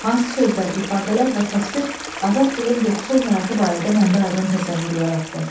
Hansı sözlər, ifadələr və təsvir Azədkilinin yoxsul həyatı barədə məndə aydın təsəvvür yaratdı?